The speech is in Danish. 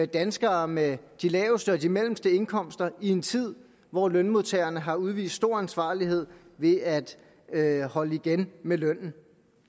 danskere med de laveste og de mellemste indkomster i en tid hvor lønmodtagerne har udvist stor ansvarlighed ved at at holde igen med lønnen